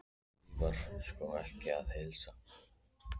En því var sko ekki að heilsa.